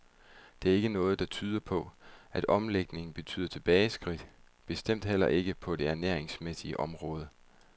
Og der er ikke noget, der tyder på, at omlægningen betyder tilbageskridt,, bestemt heller ikke på det ernæringsmæssige område.